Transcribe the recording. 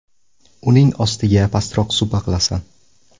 Uning ostiga pastroq supa qilasan.